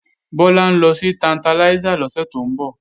Bọ́lá ń lọ sí Tantalizer lọ́sẹ̀ tó ń bọ̀